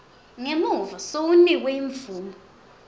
ngemuva sewunikwe imvumo